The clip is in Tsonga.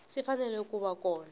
swi fanele ku va kona